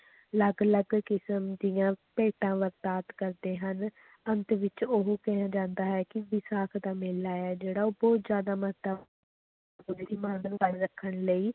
ਅਲੱਗ ਅਲੱਗ ਕਿਸ਼ਮ ਦੀਆਂ ਭੇਟਾਂ ਕਰਦੇ ਹਨ, ਅੰਤ ਵਿੱਚ ਇਹ ਕਿਹਾ ਜਾਂਦਾ ਹੈ ਕਿ ਵਿਸਾਖ ਦਾ ਮੇਲਾ ਹੈ ਜਿਹੜਾ ਉਹ ਬਹੁਤ ਜ਼ਿਆਦਾ ਰੱਖਣ ਲਈ